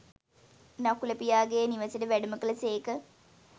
නකුල පියාගේ නිවෙසට වැඩම කළ සේක